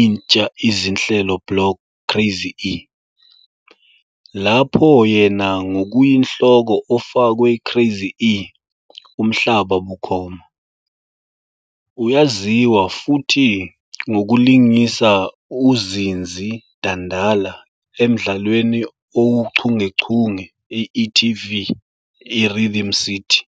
intsha izinhlelo block "Craz-e," lapho yena ngokuyinhloko ofakwe "Craz-e Umhlaba bukhoma. U"yaziwa futhi ngokulingisa uZinzi Dandala emdlalweni owuchungechunge i-e.tv iRhythm City.